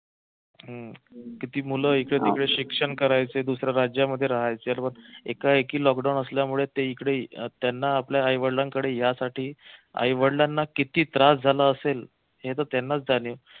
हम्म किती मुलं इकडे तिकडे शिक्षण करायचे दुसऱ्या राज्यामध्ये राहायचे एकाएकी लॉकडाऊन असल्यामुळे ते इकडे त्यांना आपल्या आई वडिलांकडे यासाठी आई वडिलांना किती त्रास झाला असेल हे तर त्यांनाच जाणीव